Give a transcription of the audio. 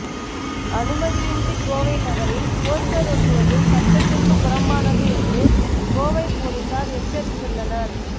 அனுமதியின்றி கோவை நகரில் போஸ்டர் ஒட்டுவது சட்டத்திற்கு புறம்பானது என்று கோவை போலீசார் எச்சரித்துள்ளனர்